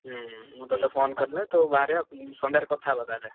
ହୁଁ ମୁଁ ତତେ phone କଲେ ତୁ ବାହାରିଆ ସନ୍ଧ୍ୟାରେ କଥା ହବା ତାହେଲେ।